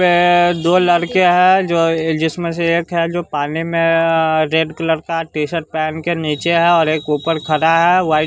पे दो लड़के हैं जो जिसमें से एक हैं जो पानी में रेड कलर का टी-शर्ट पहन के नीचे हैं और एक ऊपर खड़े हैं वाइट --